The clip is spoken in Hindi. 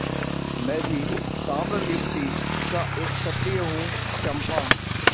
मैं भी ताम्रलिप्ति का एक क्षत्रिय हूँ चंपा